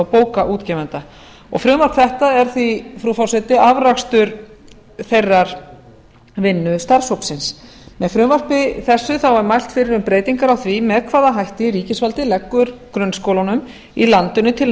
bókaútgefenda frumvarp þetta frú forseti er því afrakstur þeirra vinnu starfshópsins með frumvarpi þessu er mælt fyrir um breytingar á því með hvaða hætti ríkisvaldið leggur grunnskólunum í landinu til